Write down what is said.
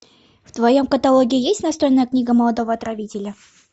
в твоем каталоге есть настольная книга молодого отравителя